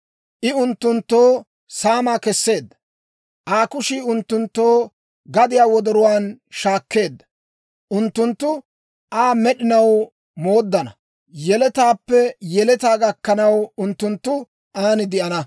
I unttunttoo saamaa kesseedda; Aa kushii unttunttoo gadiyaa wordduwaan shaakkeedda; unttunttu Aa med'inaw mooddana; yeletaappe yeletaa gakkanaw, unttunttu aan de'ana.